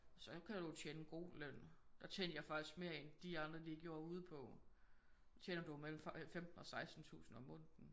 Så kan du jo tjene en god løn. Der tjente jeg faktisk mere end de andre de gjorde ude på der tjener du jo mellem 15 og 16 tusind om måneden